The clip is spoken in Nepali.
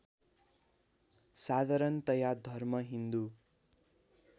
साधारणतया धर्म हिन्दु